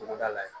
Togoda la yan